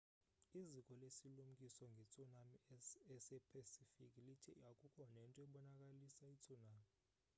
iziko lesilumkiso ngetsunami esepacific lithe akukho nento ebonakalisa itsunami